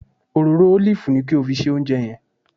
Òróró ólìfù ni kí o fi se oúnjẹ yẹn